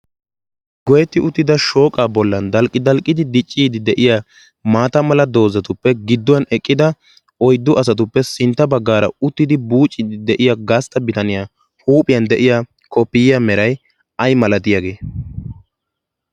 goyetti uttida shooqa bollan aldalqqidi dicciidi de7iya maata mala doozatuppe gidduwan eqqida oiddu asatuppe sintta baggaara uttidi buuciidi de7iya gaastta bitaniyaa huuphiyan de7iya koppiyiya merai ai malatiyaagee?